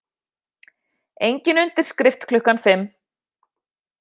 Engin undirskrift klukkan fimm